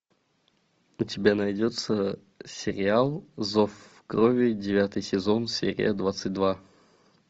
у тебя найдется сериал зов крови девятый сезон серия двадцать два